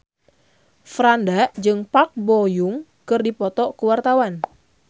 Franda jeung Park Bo Yung keur dipoto ku wartawan